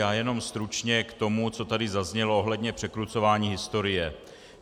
Já jen stručně k tomu, co tady zaznělo ohledně překrucování historie.